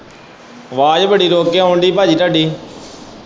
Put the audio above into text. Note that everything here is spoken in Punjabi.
ਆਵਾਜ਼ ਬੜੀ ਰੁਕ ਕੇ ਆਉਣ ਦੀ ਪਾਜੀ ਤੁਹਾਡੀ।